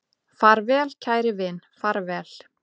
Far vel kæri vin, far vel